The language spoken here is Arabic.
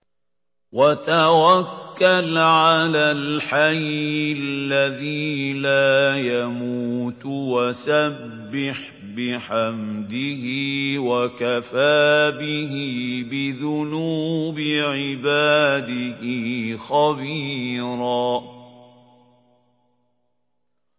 وَتَوَكَّلْ عَلَى الْحَيِّ الَّذِي لَا يَمُوتُ وَسَبِّحْ بِحَمْدِهِ ۚ وَكَفَىٰ بِهِ بِذُنُوبِ عِبَادِهِ خَبِيرًا